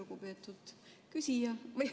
Lugupeetud küsija!